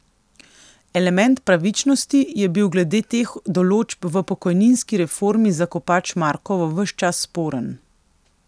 Element pravičnosti je bil glede teh določb v pokojninski reformi za Kopač Mrakovo ves čas sporen.